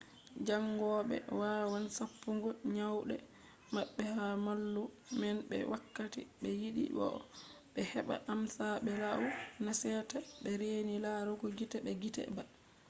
jaangoɓe wawan sappugo nyamɗe maɓɓe ha mallum'en be wakkati be yiɗi bo'o ɓe heɓba amsa be lau na sete be reni larugo gite be gite ba